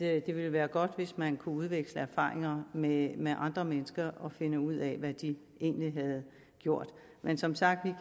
at det ville være godt hvis man kunne udveksle erfaringer med med andre mennesker og finde ud af hvad de egentlig har gjort men som sagt